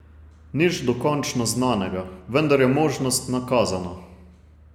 Nič dokončno znanega, vendar je možnost nakazana.